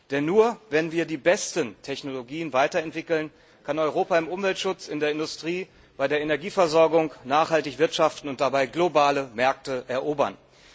Denn nur, wenn wir die besten Technologien weiterentwickeln, kann Europa im Umweltschutz, in der Industrie, bei der Energieversorgung nachhaltig wirtschaften und dabei globale Märkte erobern.